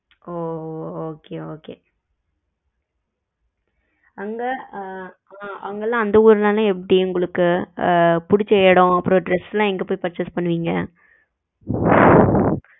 ஓ okay okay அங்க அங்க எல்லாம் அந்த ஊருல எல்லாம் எப்படி உங்களுக்கு பிடிச்ச இடம் dress எல்லாம் எங்க போய் purchase பண்ணுவீங்க